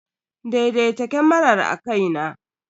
Daidaita kamarar akai na.